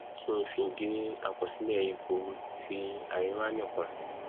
kí ng fi gé àkọsílẹ yìí kúrú ti àríwá nìkan